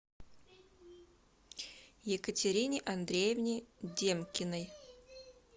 екатерине андреевне демкиной